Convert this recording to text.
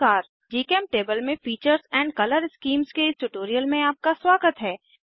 जीचेमटेबल में features and colour schemes के इस ट्यूटोरियल में आपका स्वागत है